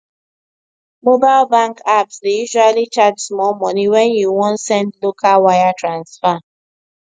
mobile bank apps dey usually charge small money when you wan send local wire transfer